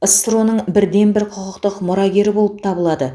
ссро ның бірден бір құқықтық мұрагері болып табылады